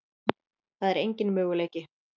Það er engin möguleiki.